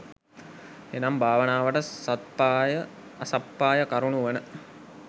එනම් භාවනාවට සත්පාය, අසප්පාය කරුණු වන,